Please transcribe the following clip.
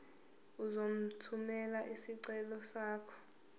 uzothumela isicelo sakho